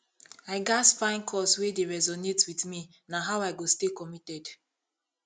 i gats find cause wey dey resonate with me na how i go stay committed